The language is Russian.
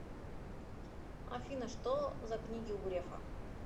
афина что за книги у грефа